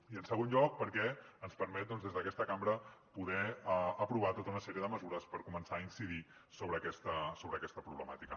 i en segon lloc perquè ens permet des d’aquesta cambra poder aprovar tota una sèrie de mesures per començar a incidir sobre aquesta problemàtica